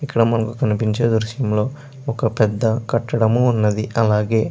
ఇక్క్కడ మనకి కనిపిచే దృశ్యంలో ఒక పెద్ద కటడం వున్నది అలాగే --